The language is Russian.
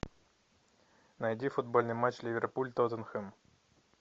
найди футбольный матч ливерпуль тоттенхэм